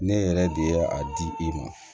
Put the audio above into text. Ne yɛrɛ de ye a di i ma